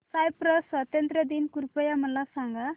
Cyprus स्वातंत्र्य दिन कृपया मला सांगा